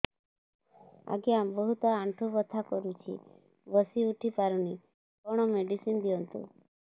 ଆଜ୍ଞା ବହୁତ ଆଣ୍ଠୁ ବଥା କରୁଛି ବସି ଉଠି ପାରୁନି କଣ ମେଡ଼ିସିନ ଦିଅନ୍ତୁ